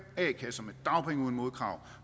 a kasser med dagpenge uden modkrav